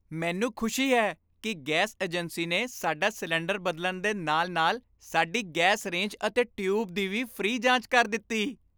ਮੈਨੂੰ ਖੁਸ਼ੀ ਹੈ ਕਿ ਗੈਸ ਏਜੰਸੀ ਨੇ ਸਾਡਾ ਸਿਲੰਡਰ ਬਦਲਣ ਦੇ ਨਾਲ ਨਾਲ ਸਾਡੀ ਗੈਸ ਰੇਂਜ ਅਤੇ ਟਿਊਬ ਦੀ ਵੀ ਫ੍ਰੀ ਜਾਂਚ ਕਰ ਦਿੱਤੀ